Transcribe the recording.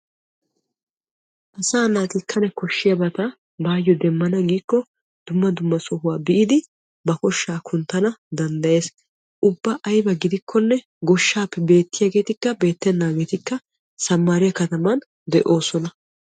Asaa naati kane koshiyaabata baayo demmana giikko dumma dumma sohuwa biidi ba koshshaa kunttana danddayees. ubba aybba gidikkonne goshshaappe beetiyaagetikka beetenaageetikka samaariya kataman de'oosona.